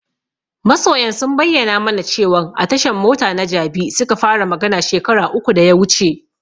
Masoyan sun bayyana mana cewan a tashan mota na Jabi suka fara magana shekara uku da ya wuce.